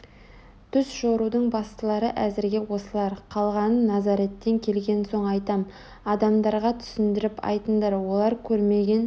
түс жорудың бастылары әзірге осылар қалғанын назареттен келген соң айтам адамдарға түсіндіріп айтыңдар олар көрмеген